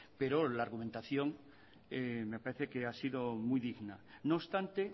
pero la argumentación me parece que ha sido muy digna no obstante